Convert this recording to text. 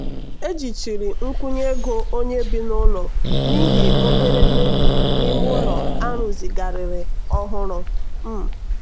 ejichiri nkwụnye ego onye bi n'ụlọ n'ihi obere mmebi n'ime ụlọ a rụzigharịrị ọhụrụ. um